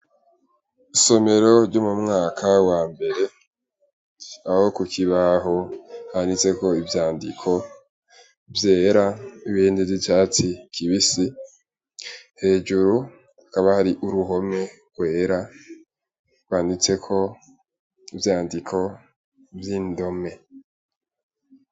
Isomero ryo mu mwaka wa mbere aho ku kibaho handitseko ivyandiko vyera ibindi vy'icatsi kibisi, hejuru hakaba hariho uruhome rwera rwanditseko ivyandiko vy'indome.